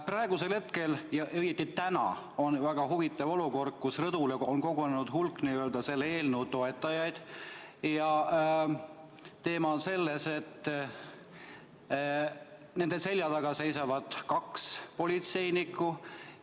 Praegusel hetkel, õieti täna on väga huvitav olukord: rõdule on kogunenud hulk selle eelnõu toetajaid ja nende selja taga seisavad kaks politseinikku.